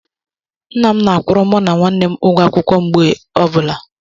Nna na-akwụrụ mo na nwannem ụgwụ akwụkwọ mgbe ọbụla